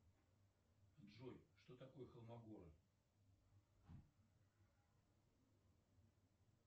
джой что такое холмогоры